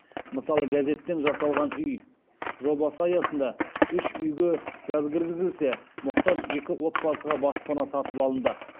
мысалы газеттен жасалған үй жобасы аясында үш үйге газ кіргізілсе мұқтаж екі отбасыға баспана сатып алынды